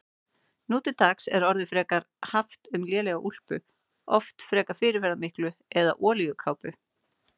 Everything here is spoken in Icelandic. Nú til dags er orðið frekar haft um lélega úlpu, oft frekar fyrirferðarmikla, eða olíukápu.